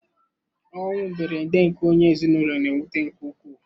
Ọnwụ mberede nke onye ezinụlọ na-ewute nke ukwuu.